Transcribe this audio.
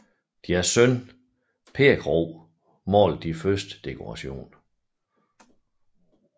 Deres søn Per Krohg malede de første dekorationer